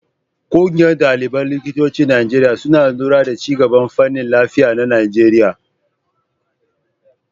Ƙungiyar ɗaliban likitocin Najeriya suna lura da ci gaban fannin lafiya na Najeriya.